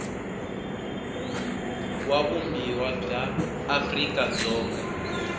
wa vumbiwa bya afrika dzonga